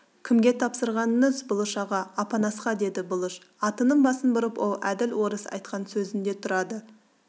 кімге тапсырғаныңыз бұлыш аға апанасқа деді бұлыш атының басын бұрып ол әділ орыс айтқан сөзінде тұрады